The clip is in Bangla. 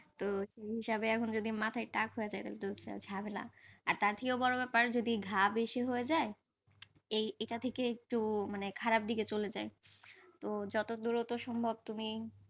তো সেই হিসাবে এখন যদি মাথায় টাক হয়ে যায়, তবে ত ঝামেলা আর তার থিয়েও বড় ব্যাপার যদি ঘা বেশি হয়ে যায়, এটা থেকে একটু খারাপ দিকে চলে যায়, তো যতদুর সম্ভব,